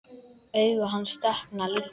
Augu hans dökkna líka.